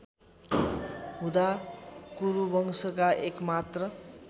हुँदा कुरुवंशका एकमात्र